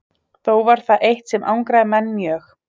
Þó var það eitt sem angraði menn mjög.